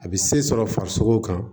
A bɛ se sɔrɔ farisogo kan